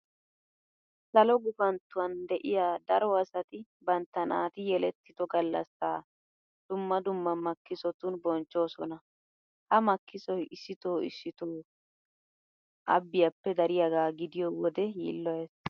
Salo gufanttuwan de'iya daro asati bantta naati yelettido gallassaa dumma dumma makkisotun bonchchoosona. Ha makkisoy issitoo issitoo abbiyappe dariyagaa gidiyo wode yiilloyees.